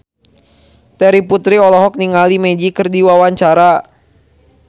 Terry Putri olohok ningali Magic keur diwawancara